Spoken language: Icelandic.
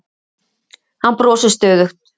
Hann brosir stöðugt.